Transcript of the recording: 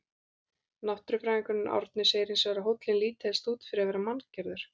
Náttúrufræðingurinn Árni segir hins vegar að hóllinn líti helst út fyrir að vera manngerður.